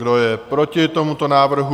Kdo je proti tomuto návrhu?